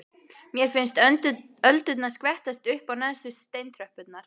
Mér finnst öldurnar skvettast upp á neðstu steintröppurnar.